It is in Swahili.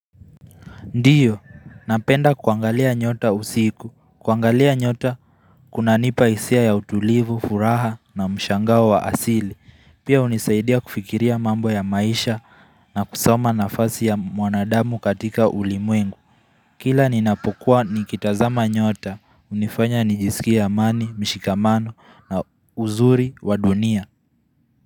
Ndiyo, napenda kuangalia nyota usiku. Kuangalia nyota, kunanipa hisia ya utulivu, furaha na mshangao wa asili. Pia hunisaidia kufikiria mambo ya maisha na kusoma nafasi ya mwanadamu katika ulimwengu. Kila ninapokuwa nikitazama nyota, hunifanya nijisikie amani, mshikamano na uzuri wa dunia.